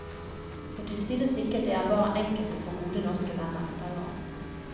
Og de synes ikke det er bare enkelt å få gode norske venner, forteller hun.